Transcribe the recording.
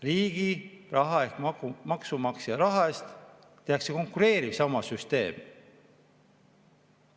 Riigi raha ehk maksumaksja raha eest tehakse konkureeriv süsteem.